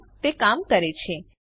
હા તે કામ કરે છે